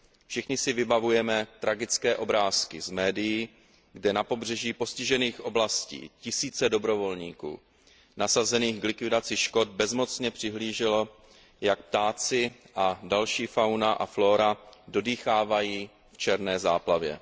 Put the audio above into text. Všichni si vybavujeme tragické obrázky z médií, kde na pobřeží postižených oblastí tisíce dobrovolníků nasazených k likvidaci škod bezmocně přihlíželo, jak ptáci a další fauna a flóra dodýchávají v černé záplavě.